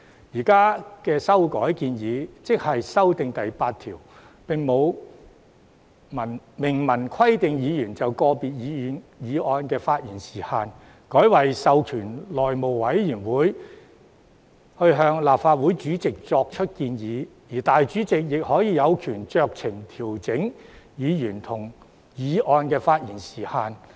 現在的修訂建議——即修訂條文第8條——並沒有明文規定議員就個別議案的發言時限，改為授權內務委員會向立法會主席作出建議，而主席亦有權酌情調整議員及議案的發言時限。